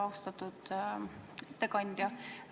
Austatud ettekandja!